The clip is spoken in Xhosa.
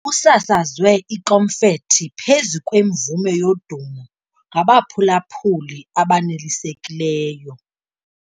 Kusasazwe ikomfethi phezu kwemvume yodumo ngabaphulaphuli abanelisekileyo.